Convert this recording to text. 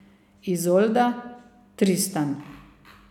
Izolda, Tristan.